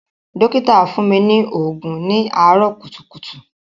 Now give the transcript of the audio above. Dọ́kítà fún mi ní òògùn ní àárọ̀ kùtùkùtù.